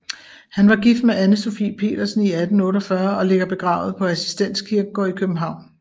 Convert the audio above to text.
Han var gift med Ane Sophie Pedersen i 1848 og ligger begravet på Assistens Kirkegård i København